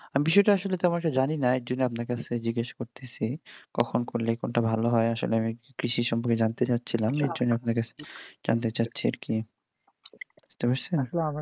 বিষয়টা আসলে তেমন একটা জানিনা এইজন্য আপনার কাছে জিজ্ঞাসা করতেছি কখন করলে কোনটা ভাল হয় আসলে আমি কৃষি সম্পর্কে জানতে চাচ্ছিলাম এজন্য আপনার কাছে জানতে চাচ্ছি আর কি বুঝতে পারছেন